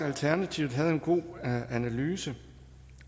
alternativet en god analyse